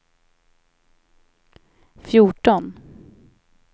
fjorton